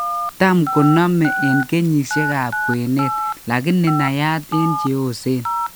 Tam konome eng' kenyisiek ab kwenet lakini naiyat eng' cheyoseen